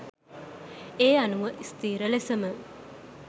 ඒ අනුව ස්ථීර ලෙසම